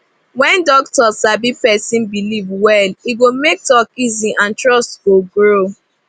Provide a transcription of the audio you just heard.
when doctor sabi person belief well e go make talk easy and trust go grow